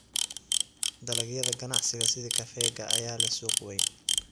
Dalagyada ganacsiga sida kafeega ayaa leh suuq weyn.